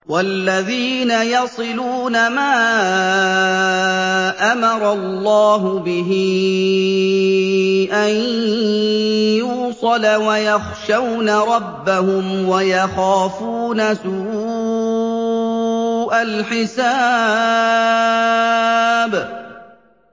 وَالَّذِينَ يَصِلُونَ مَا أَمَرَ اللَّهُ بِهِ أَن يُوصَلَ وَيَخْشَوْنَ رَبَّهُمْ وَيَخَافُونَ سُوءَ الْحِسَابِ